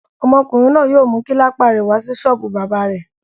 Ọmọkùnrin náà yóò mú kílípà rẹ̀ wá sí ṣọ́ọ́bù bábà.